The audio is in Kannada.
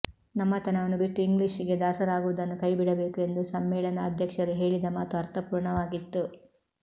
ನಮ್ಮತನವನು ಬಿಟ್ಟು ಇಂಗ್ಲಿಷ್ ಗೆ ದಾಸರಾಗುವುದನ್ನು ಕೈ ಬಿಡಬೇಕು ಎಂದು ಸಮ್ಮೇಳನಾಧ್ಯಕ್ಷರು ಹೇಳಿದ ಮಾತು ಅರ್ಥಪೂರ್ಣವಾಗಿತ್ತು